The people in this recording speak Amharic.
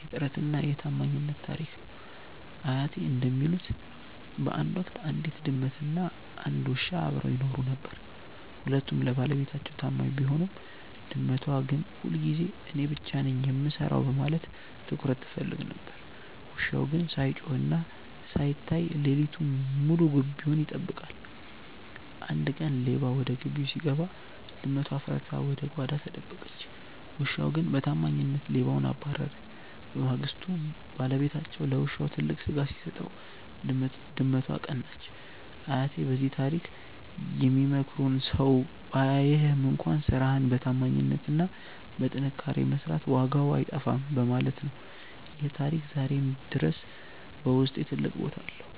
"የጥረትና የታማኝነት" ታሪክ ነው። አያቴ እንደሚሉት፣ በአንድ ወቅት አንዲት ድመትና አንድ ውሻ አብረው ይኖሩ ነበር። ሁለቱም ለባለቤታቸው ታማኝ ቢሆኑም፣ ድመቷ ግን ሁልጊዜ እኔ ብቻ ነኝ የምሰራው በማለት ትኩረት ትፈልግ ነበር። ውሻው ግን ሳይጮህና ሳይታይ ሌሊቱን ሙሉ ግቢውን ይጠብቃል። አንድ ቀን ሌባ ወደ ግቢው ሲገባ፣ ድመቷ ፈርታ ወደ ጓዳ ተደበቀች። ውሻው ግን በታማኝነት ሌባውን አባረረ። በማግስቱ ባለቤታቸው ለውሻው ትልቅ ስጋ ሲሰጠው፣ ድመቷ ቀናች። አያቴ በዚህ ታሪክ የሚመክሩን ሰው ባያይህም እንኳን ስራህን በታማኝነትና በጥንካሬ መስራት ዋጋው አይጠፋም በማለት ነው። ይህ ታሪክ ዛሬም ድረስ በውስጤ ትልቅ ቦታ አለው።